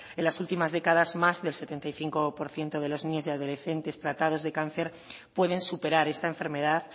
en las últimas décadas más del setenta y cinco por ciento de los niños y adolescentes tratados de cáncer pueden superar esta enfermedad